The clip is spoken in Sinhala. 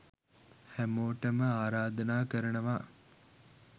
හැමෝටම ආරාධනා කරනවා